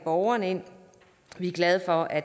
borgerne vi er glade for at